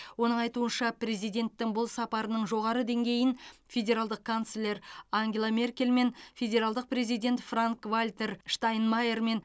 оның айтуынша президенттің бұл сапарының жоғары деңгейін федералдық канцлер ангела меркельмен федералдық президент франк вальтер штайнмайермен